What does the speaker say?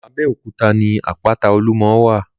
Abẹ́òkúta ní àpáta-olúmọ wà.